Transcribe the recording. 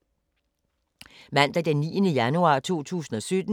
Mandag d. 9. januar 2017